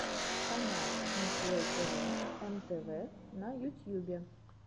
канал миклой тэвэ эм тэ вэ на ютьюбе